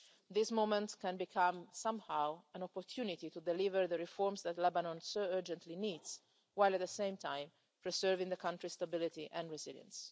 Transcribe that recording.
This moment can become somehow an opportunity to deliver the reforms that Lebanon so urgently needs while, at the same time, preserving the country's stability and resilience.